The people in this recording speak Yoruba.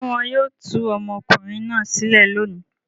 Ṣé wọn yóò tú ọmọkùnrin náà sílẹ̀ lónìí?